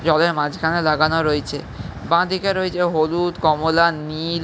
জলের মাজখানে লাগানো রয়েছে। বাঁ দিকে রয়েছে হলুদ কমলা নীল --